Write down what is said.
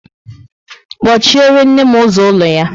kpochiere nne m ụzọ ụlọ ya!